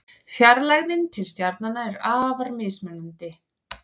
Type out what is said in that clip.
Fjarlægðin til stjarnanna er afar mismunandi.